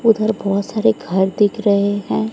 उधर बहोत सारे घर दिख रहे हैं।